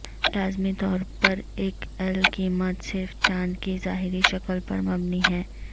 لازمی طور پر ایک ایل قیمت صرف چاند کی ظاہری شکل پر مبنی ہے